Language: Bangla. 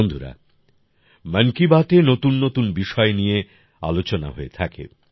বন্ধুরা মন কি বাতএ নতুন নতুন বিষয় নিয়ে আলোচনা হয়ে থাকে